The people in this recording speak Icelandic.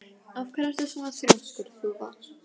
Af hverju ertu svona þrjóskur, Þúfa?